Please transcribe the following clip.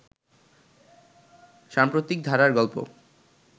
সাম্প্রতিক ধারার গল্প